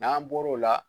N'an bɔr'o la